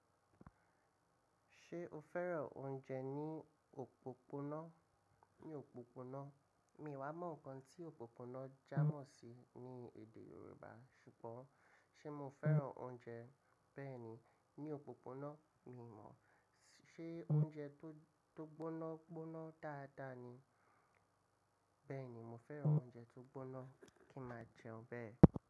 Ṣé o fẹ́ràn oúnjẹ ní òpópónà? Ní òpópónà, mi ò wa mọ̀ nǹkan tí òpópónà jámọ̀ sí ní èdè Yorùbá. Ṣùgbọ́n ṣe mo fẹ́ràn oúnjẹ bẹ́ẹ̀ ni, ní òpópónà? Mi ò mọ̀. Ṣé oúnjẹ tó gbóná gbóná dáadáa ni? Bẹ́ẹ̀ni, mo fẹ́ràn oúnjẹ tó gbóná kí n máa jẹun bẹ́ẹ̀